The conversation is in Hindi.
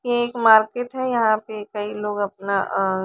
ये एक मार्केट है यहाँ पे कई लोग अपना अ--